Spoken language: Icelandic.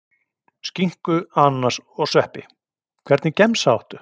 Skinku, ananas og sveppi Hvernig gemsa áttu?